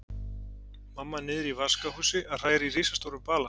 Mamma niðri í vaskahúsi að hræra í risastórum bala.